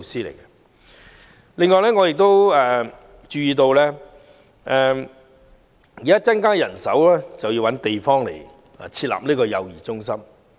此外，我亦注意到除增加人手比例外，亦有需要物色設立幼兒中心的地方。